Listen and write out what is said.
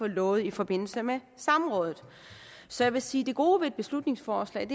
lovet i forbindelse med samrådet så jeg vil sige at det gode ved beslutningsforslaget